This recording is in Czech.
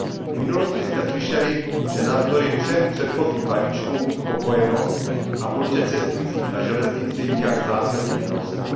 V minulosti jsme slyšeli, že navzdory třem předchozím balíčkům spokojenost a počet cestujících na železnici nijak zásadně neroste.